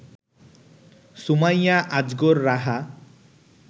Sumaiya Azgar Raha